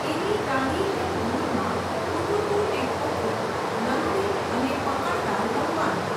એની ટાઢીહેમ ધૂળમાં હુતુતુ ને ખોખો, લંગડી અને પકડદાવ રમવાનાં.